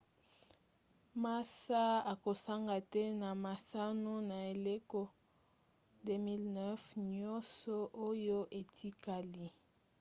massa akosanga te na masano na eleko 2009 nyonso oyo etikali